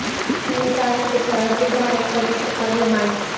तो तीन तास पेक्षा अधिक धारण करू शकता गोमांस